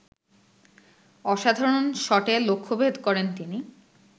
অসাধারণ শটে লক্ষ্যভেদ করেন তিনি